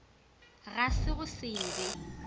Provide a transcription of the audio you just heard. ga se go se be